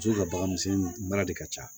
Muso ka baganmisɛnnin mara de ka ca